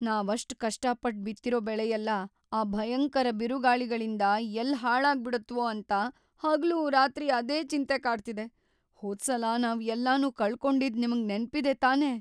ನಾವ್‌ ಅಷ್ಟ್‌ ಕಷ್ಟಪಟ್ಟ್‌ ಬಿತ್ತಿರೋ ಬೆಳೆಯೆಲ್ಲ ಆ ಭಯಂಕರ ಬಿರುಗಾಳಿಗಳಿಂದ ಎಲ್ಲ್‌ ಹಾಳಾಗ್ಬಿಡತ್ವೋ ಅಂತ ಹಗಲೂರಾತ್ರಿ ಅದೇ ಚಿಂತೆ ಕಾಡ್ತಿದೆ. ಹೋದ್ಸಲ ನಾವ್ ಎಲ್ಲನೂ ಕಳ್ಕೊಂಡಿದ್ದ್ ನಿಮ್ಗ್ ನೆನ್ಪಿದೆ ತಾನೇ?